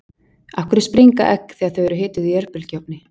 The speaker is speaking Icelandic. Af hverju springa egg þegar þau eru hituð í örbylgjuofni?